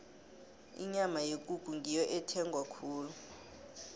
inyama yekukhu ngiyo ethengwa khulu